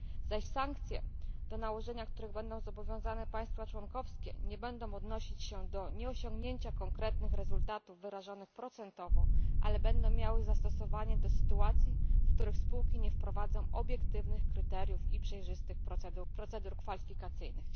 Zaś sankcje, do nałożenia których zobowiązane będą państwa członkowskie, nie będą odnosić się do nieosiągnięcia konkretnych rezultatów wyrażanych procentowo, ale będą miały zastosowanie do sytuacji, w których spółki nie wprowadzą obiektywnych kryteriów i przejrzystych procedur kwalifikacyjnych.